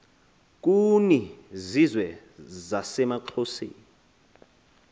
kuni zizwe zasemaxhoseni